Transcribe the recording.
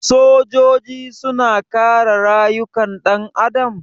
Sojoji suna kare rayukan ɗan adam?